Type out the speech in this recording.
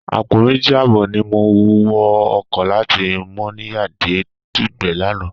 Àpọ̀ méjì àbọ̀ ni mo wọ ọkọ̀ láti Mọ́níyà dé Dùgbẹ̀ lánàá